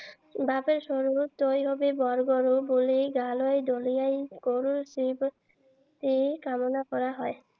বাপেৰ সৰু তই হবি বৰ বৰ বুলি গালৈ দলিয়াই গৰুৰ শ্ৰীবৃদ্ধি কামনা কৰা হয়।